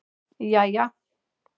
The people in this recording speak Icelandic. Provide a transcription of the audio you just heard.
jæja